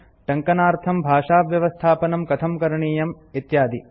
टङ्कनार्थं भाषाव्यवस्थापनं कथं करणीयम् इत्यादि